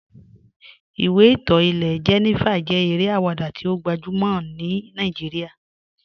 Ìwé ìtọ́ ilẹ̀ Jènífà jẹ́ èrè awada tí ó gbajúmọ̀ ní Nàìjíríà